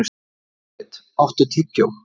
Marit, áttu tyggjó?